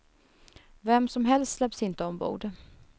Vem som helst släpps inte ombord.